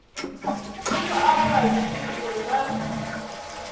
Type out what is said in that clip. thusa avho vhavhili uri vha